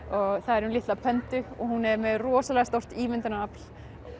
og það er um litla og hún er með rosalega stórt ímyndunarafl